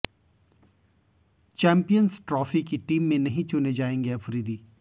champions Trophy की team में नहीं चुने जाएंगे अफरीदी